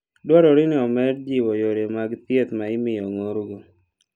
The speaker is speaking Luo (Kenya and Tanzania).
Dwarore ni omed jiwo yore mag thieth ma imiyo ong'orgo.